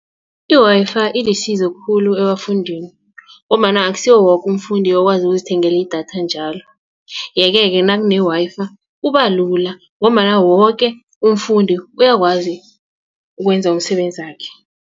I-Wi-Fi ilisizo khulu ebafundini ngombana akusiwo woke umfundi okwazi ukuzithengela idatha njalo yeke ke nakune Wi-Fi kubalula ngombana woke umfundi uyakwazi ukwenza umsebenzakhe.